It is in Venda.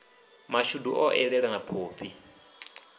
mashudu o eḓela na phophi